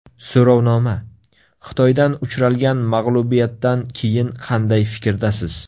So‘rovnoma: Xitoydan uchralgan mag‘lubiyatdan keyin qanday fikrdasiz?